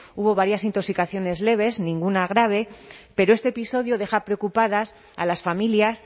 hubo varias intoxicaciones leves ninguna grave pero este episodio deja preocupadas a las familias